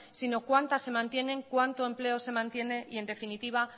sino cuántas se mantienen cuánto empleo se mantiene y en definitiva